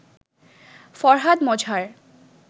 Farhad Mazhar